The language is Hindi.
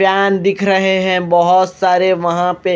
फैन दिख रहे हैं बहोत सारे वहां पे--